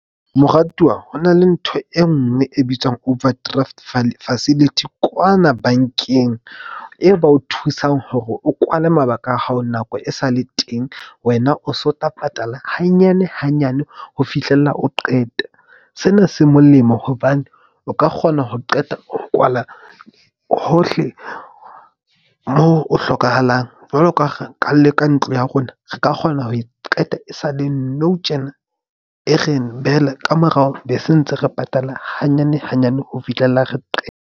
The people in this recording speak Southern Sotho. Moratuwa hona le ntho e nngwe e bitswang overdraft facility kwana bank-eng. Eo ba o thusang hore o kwale mabaka a hao nako e sale teng, wena o so tla patala hanyane hanyane ho fihlella o qeta. Sena se molemo hobane o ka kgona ho qeta ho kwala hohle moo o hlokahalang. Jwalo ka ha re ka le ka ntlo ya rona, re ka kgona ho e qeta e sa le nou tjena, e re behele ka morao be se ntse re patala hanyane hanyane ho fihlella re .